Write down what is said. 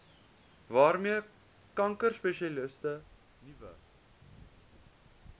waarmee kankerspesialiste nuwe